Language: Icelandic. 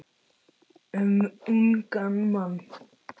Um ungan mann.